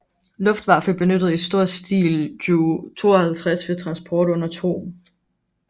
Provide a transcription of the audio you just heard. Luftwaffe benyttede i stor stil Ju 52 ved transport under 2